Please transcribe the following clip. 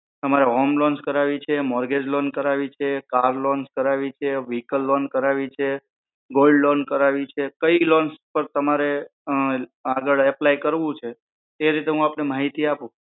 તમારે home loan કરાવી છે mortgage loan કરાવી છે car loan કરાવી છે vehicle loan કરાવી છે gold loan કરાવી છે કઈ લોન પર તમારે આગળ apply કરવું છે એ રીતના હું તમને માહિતી આપું